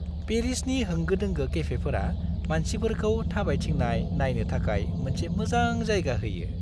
पेरिसनि होंगो-दोंगो केफेफोरा मानसिफोरखौ थाबायथिंनाय नायनो थाखाय मोनसे मोजां जायगा होयो।